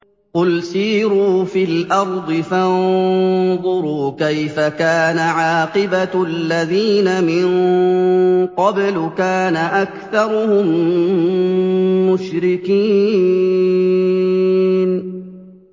قُلْ سِيرُوا فِي الْأَرْضِ فَانظُرُوا كَيْفَ كَانَ عَاقِبَةُ الَّذِينَ مِن قَبْلُ ۚ كَانَ أَكْثَرُهُم مُّشْرِكِينَ